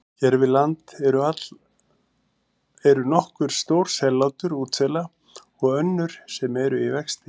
Hér við land eru nokkur stór sellátur útsela og önnur sem eru í vexti.